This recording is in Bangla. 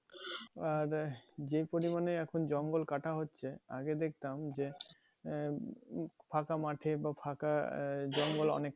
আর আহ যে পরিমানে এখন জঙ্গল কাঁটা হচ্ছে আগে দেখতাম যে আহ ফাঁকা মাঠে বা ফাঁকা আহ জঙ্গল অনেক